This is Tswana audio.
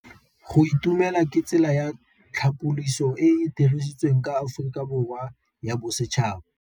Go itumela ke tsela ya tlhapolisô e e dirisitsweng ke Aforika Borwa ya Bosetšhaba.